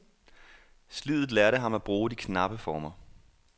Sliddet lærte ham at bruge de knappe former.